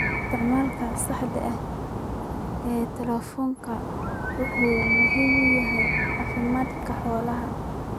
Isticmaalka saxda ah ee tallaalku waxa uu muhiim u yahay caafimaadka xoolaha.